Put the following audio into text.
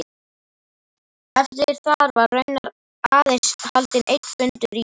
Eftir þar var raunar aðeins haldinn einn fundur í